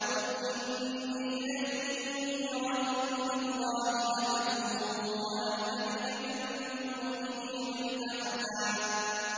قُلْ إِنِّي لَن يُجِيرَنِي مِنَ اللَّهِ أَحَدٌ وَلَنْ أَجِدَ مِن دُونِهِ مُلْتَحَدًا